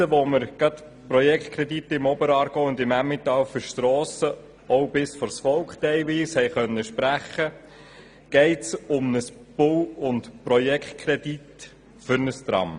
Jetzt, wo wir die Projektkredite im Emmental und im Oberaargau für Strassen – teilweise bis vors Volk – sprechen konnten, geht es hier um einen Bau- und Projektkredit für ein Tram.